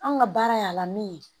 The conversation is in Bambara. An ka baara y'a la min ye